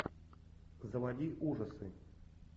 заводи ужасы